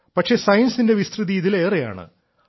പക്ഷേ സയൻസിന്റെ വിസ്തൃതി ഇതിലേറെയാണ്